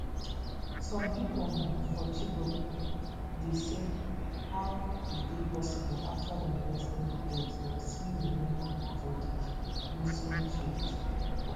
some pipo um for chibok dey say how e dey possible afta dem rescue di girls dem still remain for di muslim faith